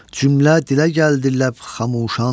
Cümlə dilə gəldi ləbxamuşan.